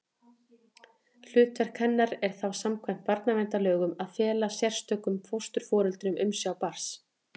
Hlutverk hennar er þá samkvæmt barnaverndarlögum að fela sérstökum fósturforeldrum umsjá barns.